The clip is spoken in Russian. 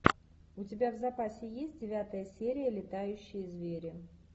у тебя в запасе есть девятая серия летающие звери